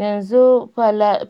Yanzu